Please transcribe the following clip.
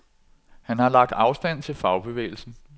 Han har lagt afstand til fagbevægelsen.